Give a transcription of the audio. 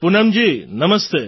Poonamji Namaste